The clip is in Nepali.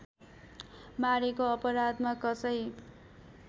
मारेको अपराधमा कसै